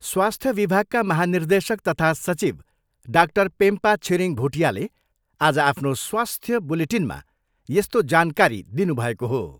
स्वास्थ्य विभागका महानिर्देशक तथा सचिव डाक्टर पेम्पा छिरिङ भुटियाले आज आफ्नो स्वास्थ्य बुलेटिनमा यस्तो जानकारी दिनुभएको हो।